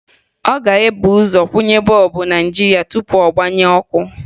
Ọ ga-ebu ụzọ kwụnye bọọbụ na nji ya tupu ọ gbaghee ọkụ